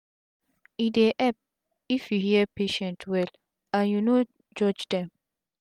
e dey epp if u hear patient well and u no judge dem